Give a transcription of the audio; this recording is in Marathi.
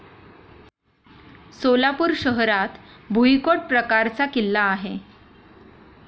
सोलापूर शहरात भुईकोट प्रकारचा किल्ला आहे.